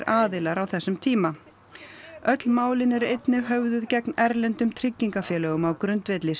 aðilar á þessum tíma öll málin eru einnig höfðuð gegn erlendum tryggingafélögum á grundvelli